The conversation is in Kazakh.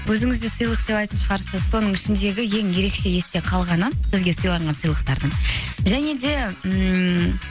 өзіңіз де сыйлық сыйлайтын шығарсыз соның ішіндегі ең ерекше есте қалғаны сізге сыйланған сыйлықтардың және де ммм